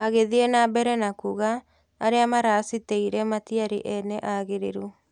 Aagĩthie na mbere kuuga, "Arĩa maaracitĩire matiarĩ ene aagĩrĩru."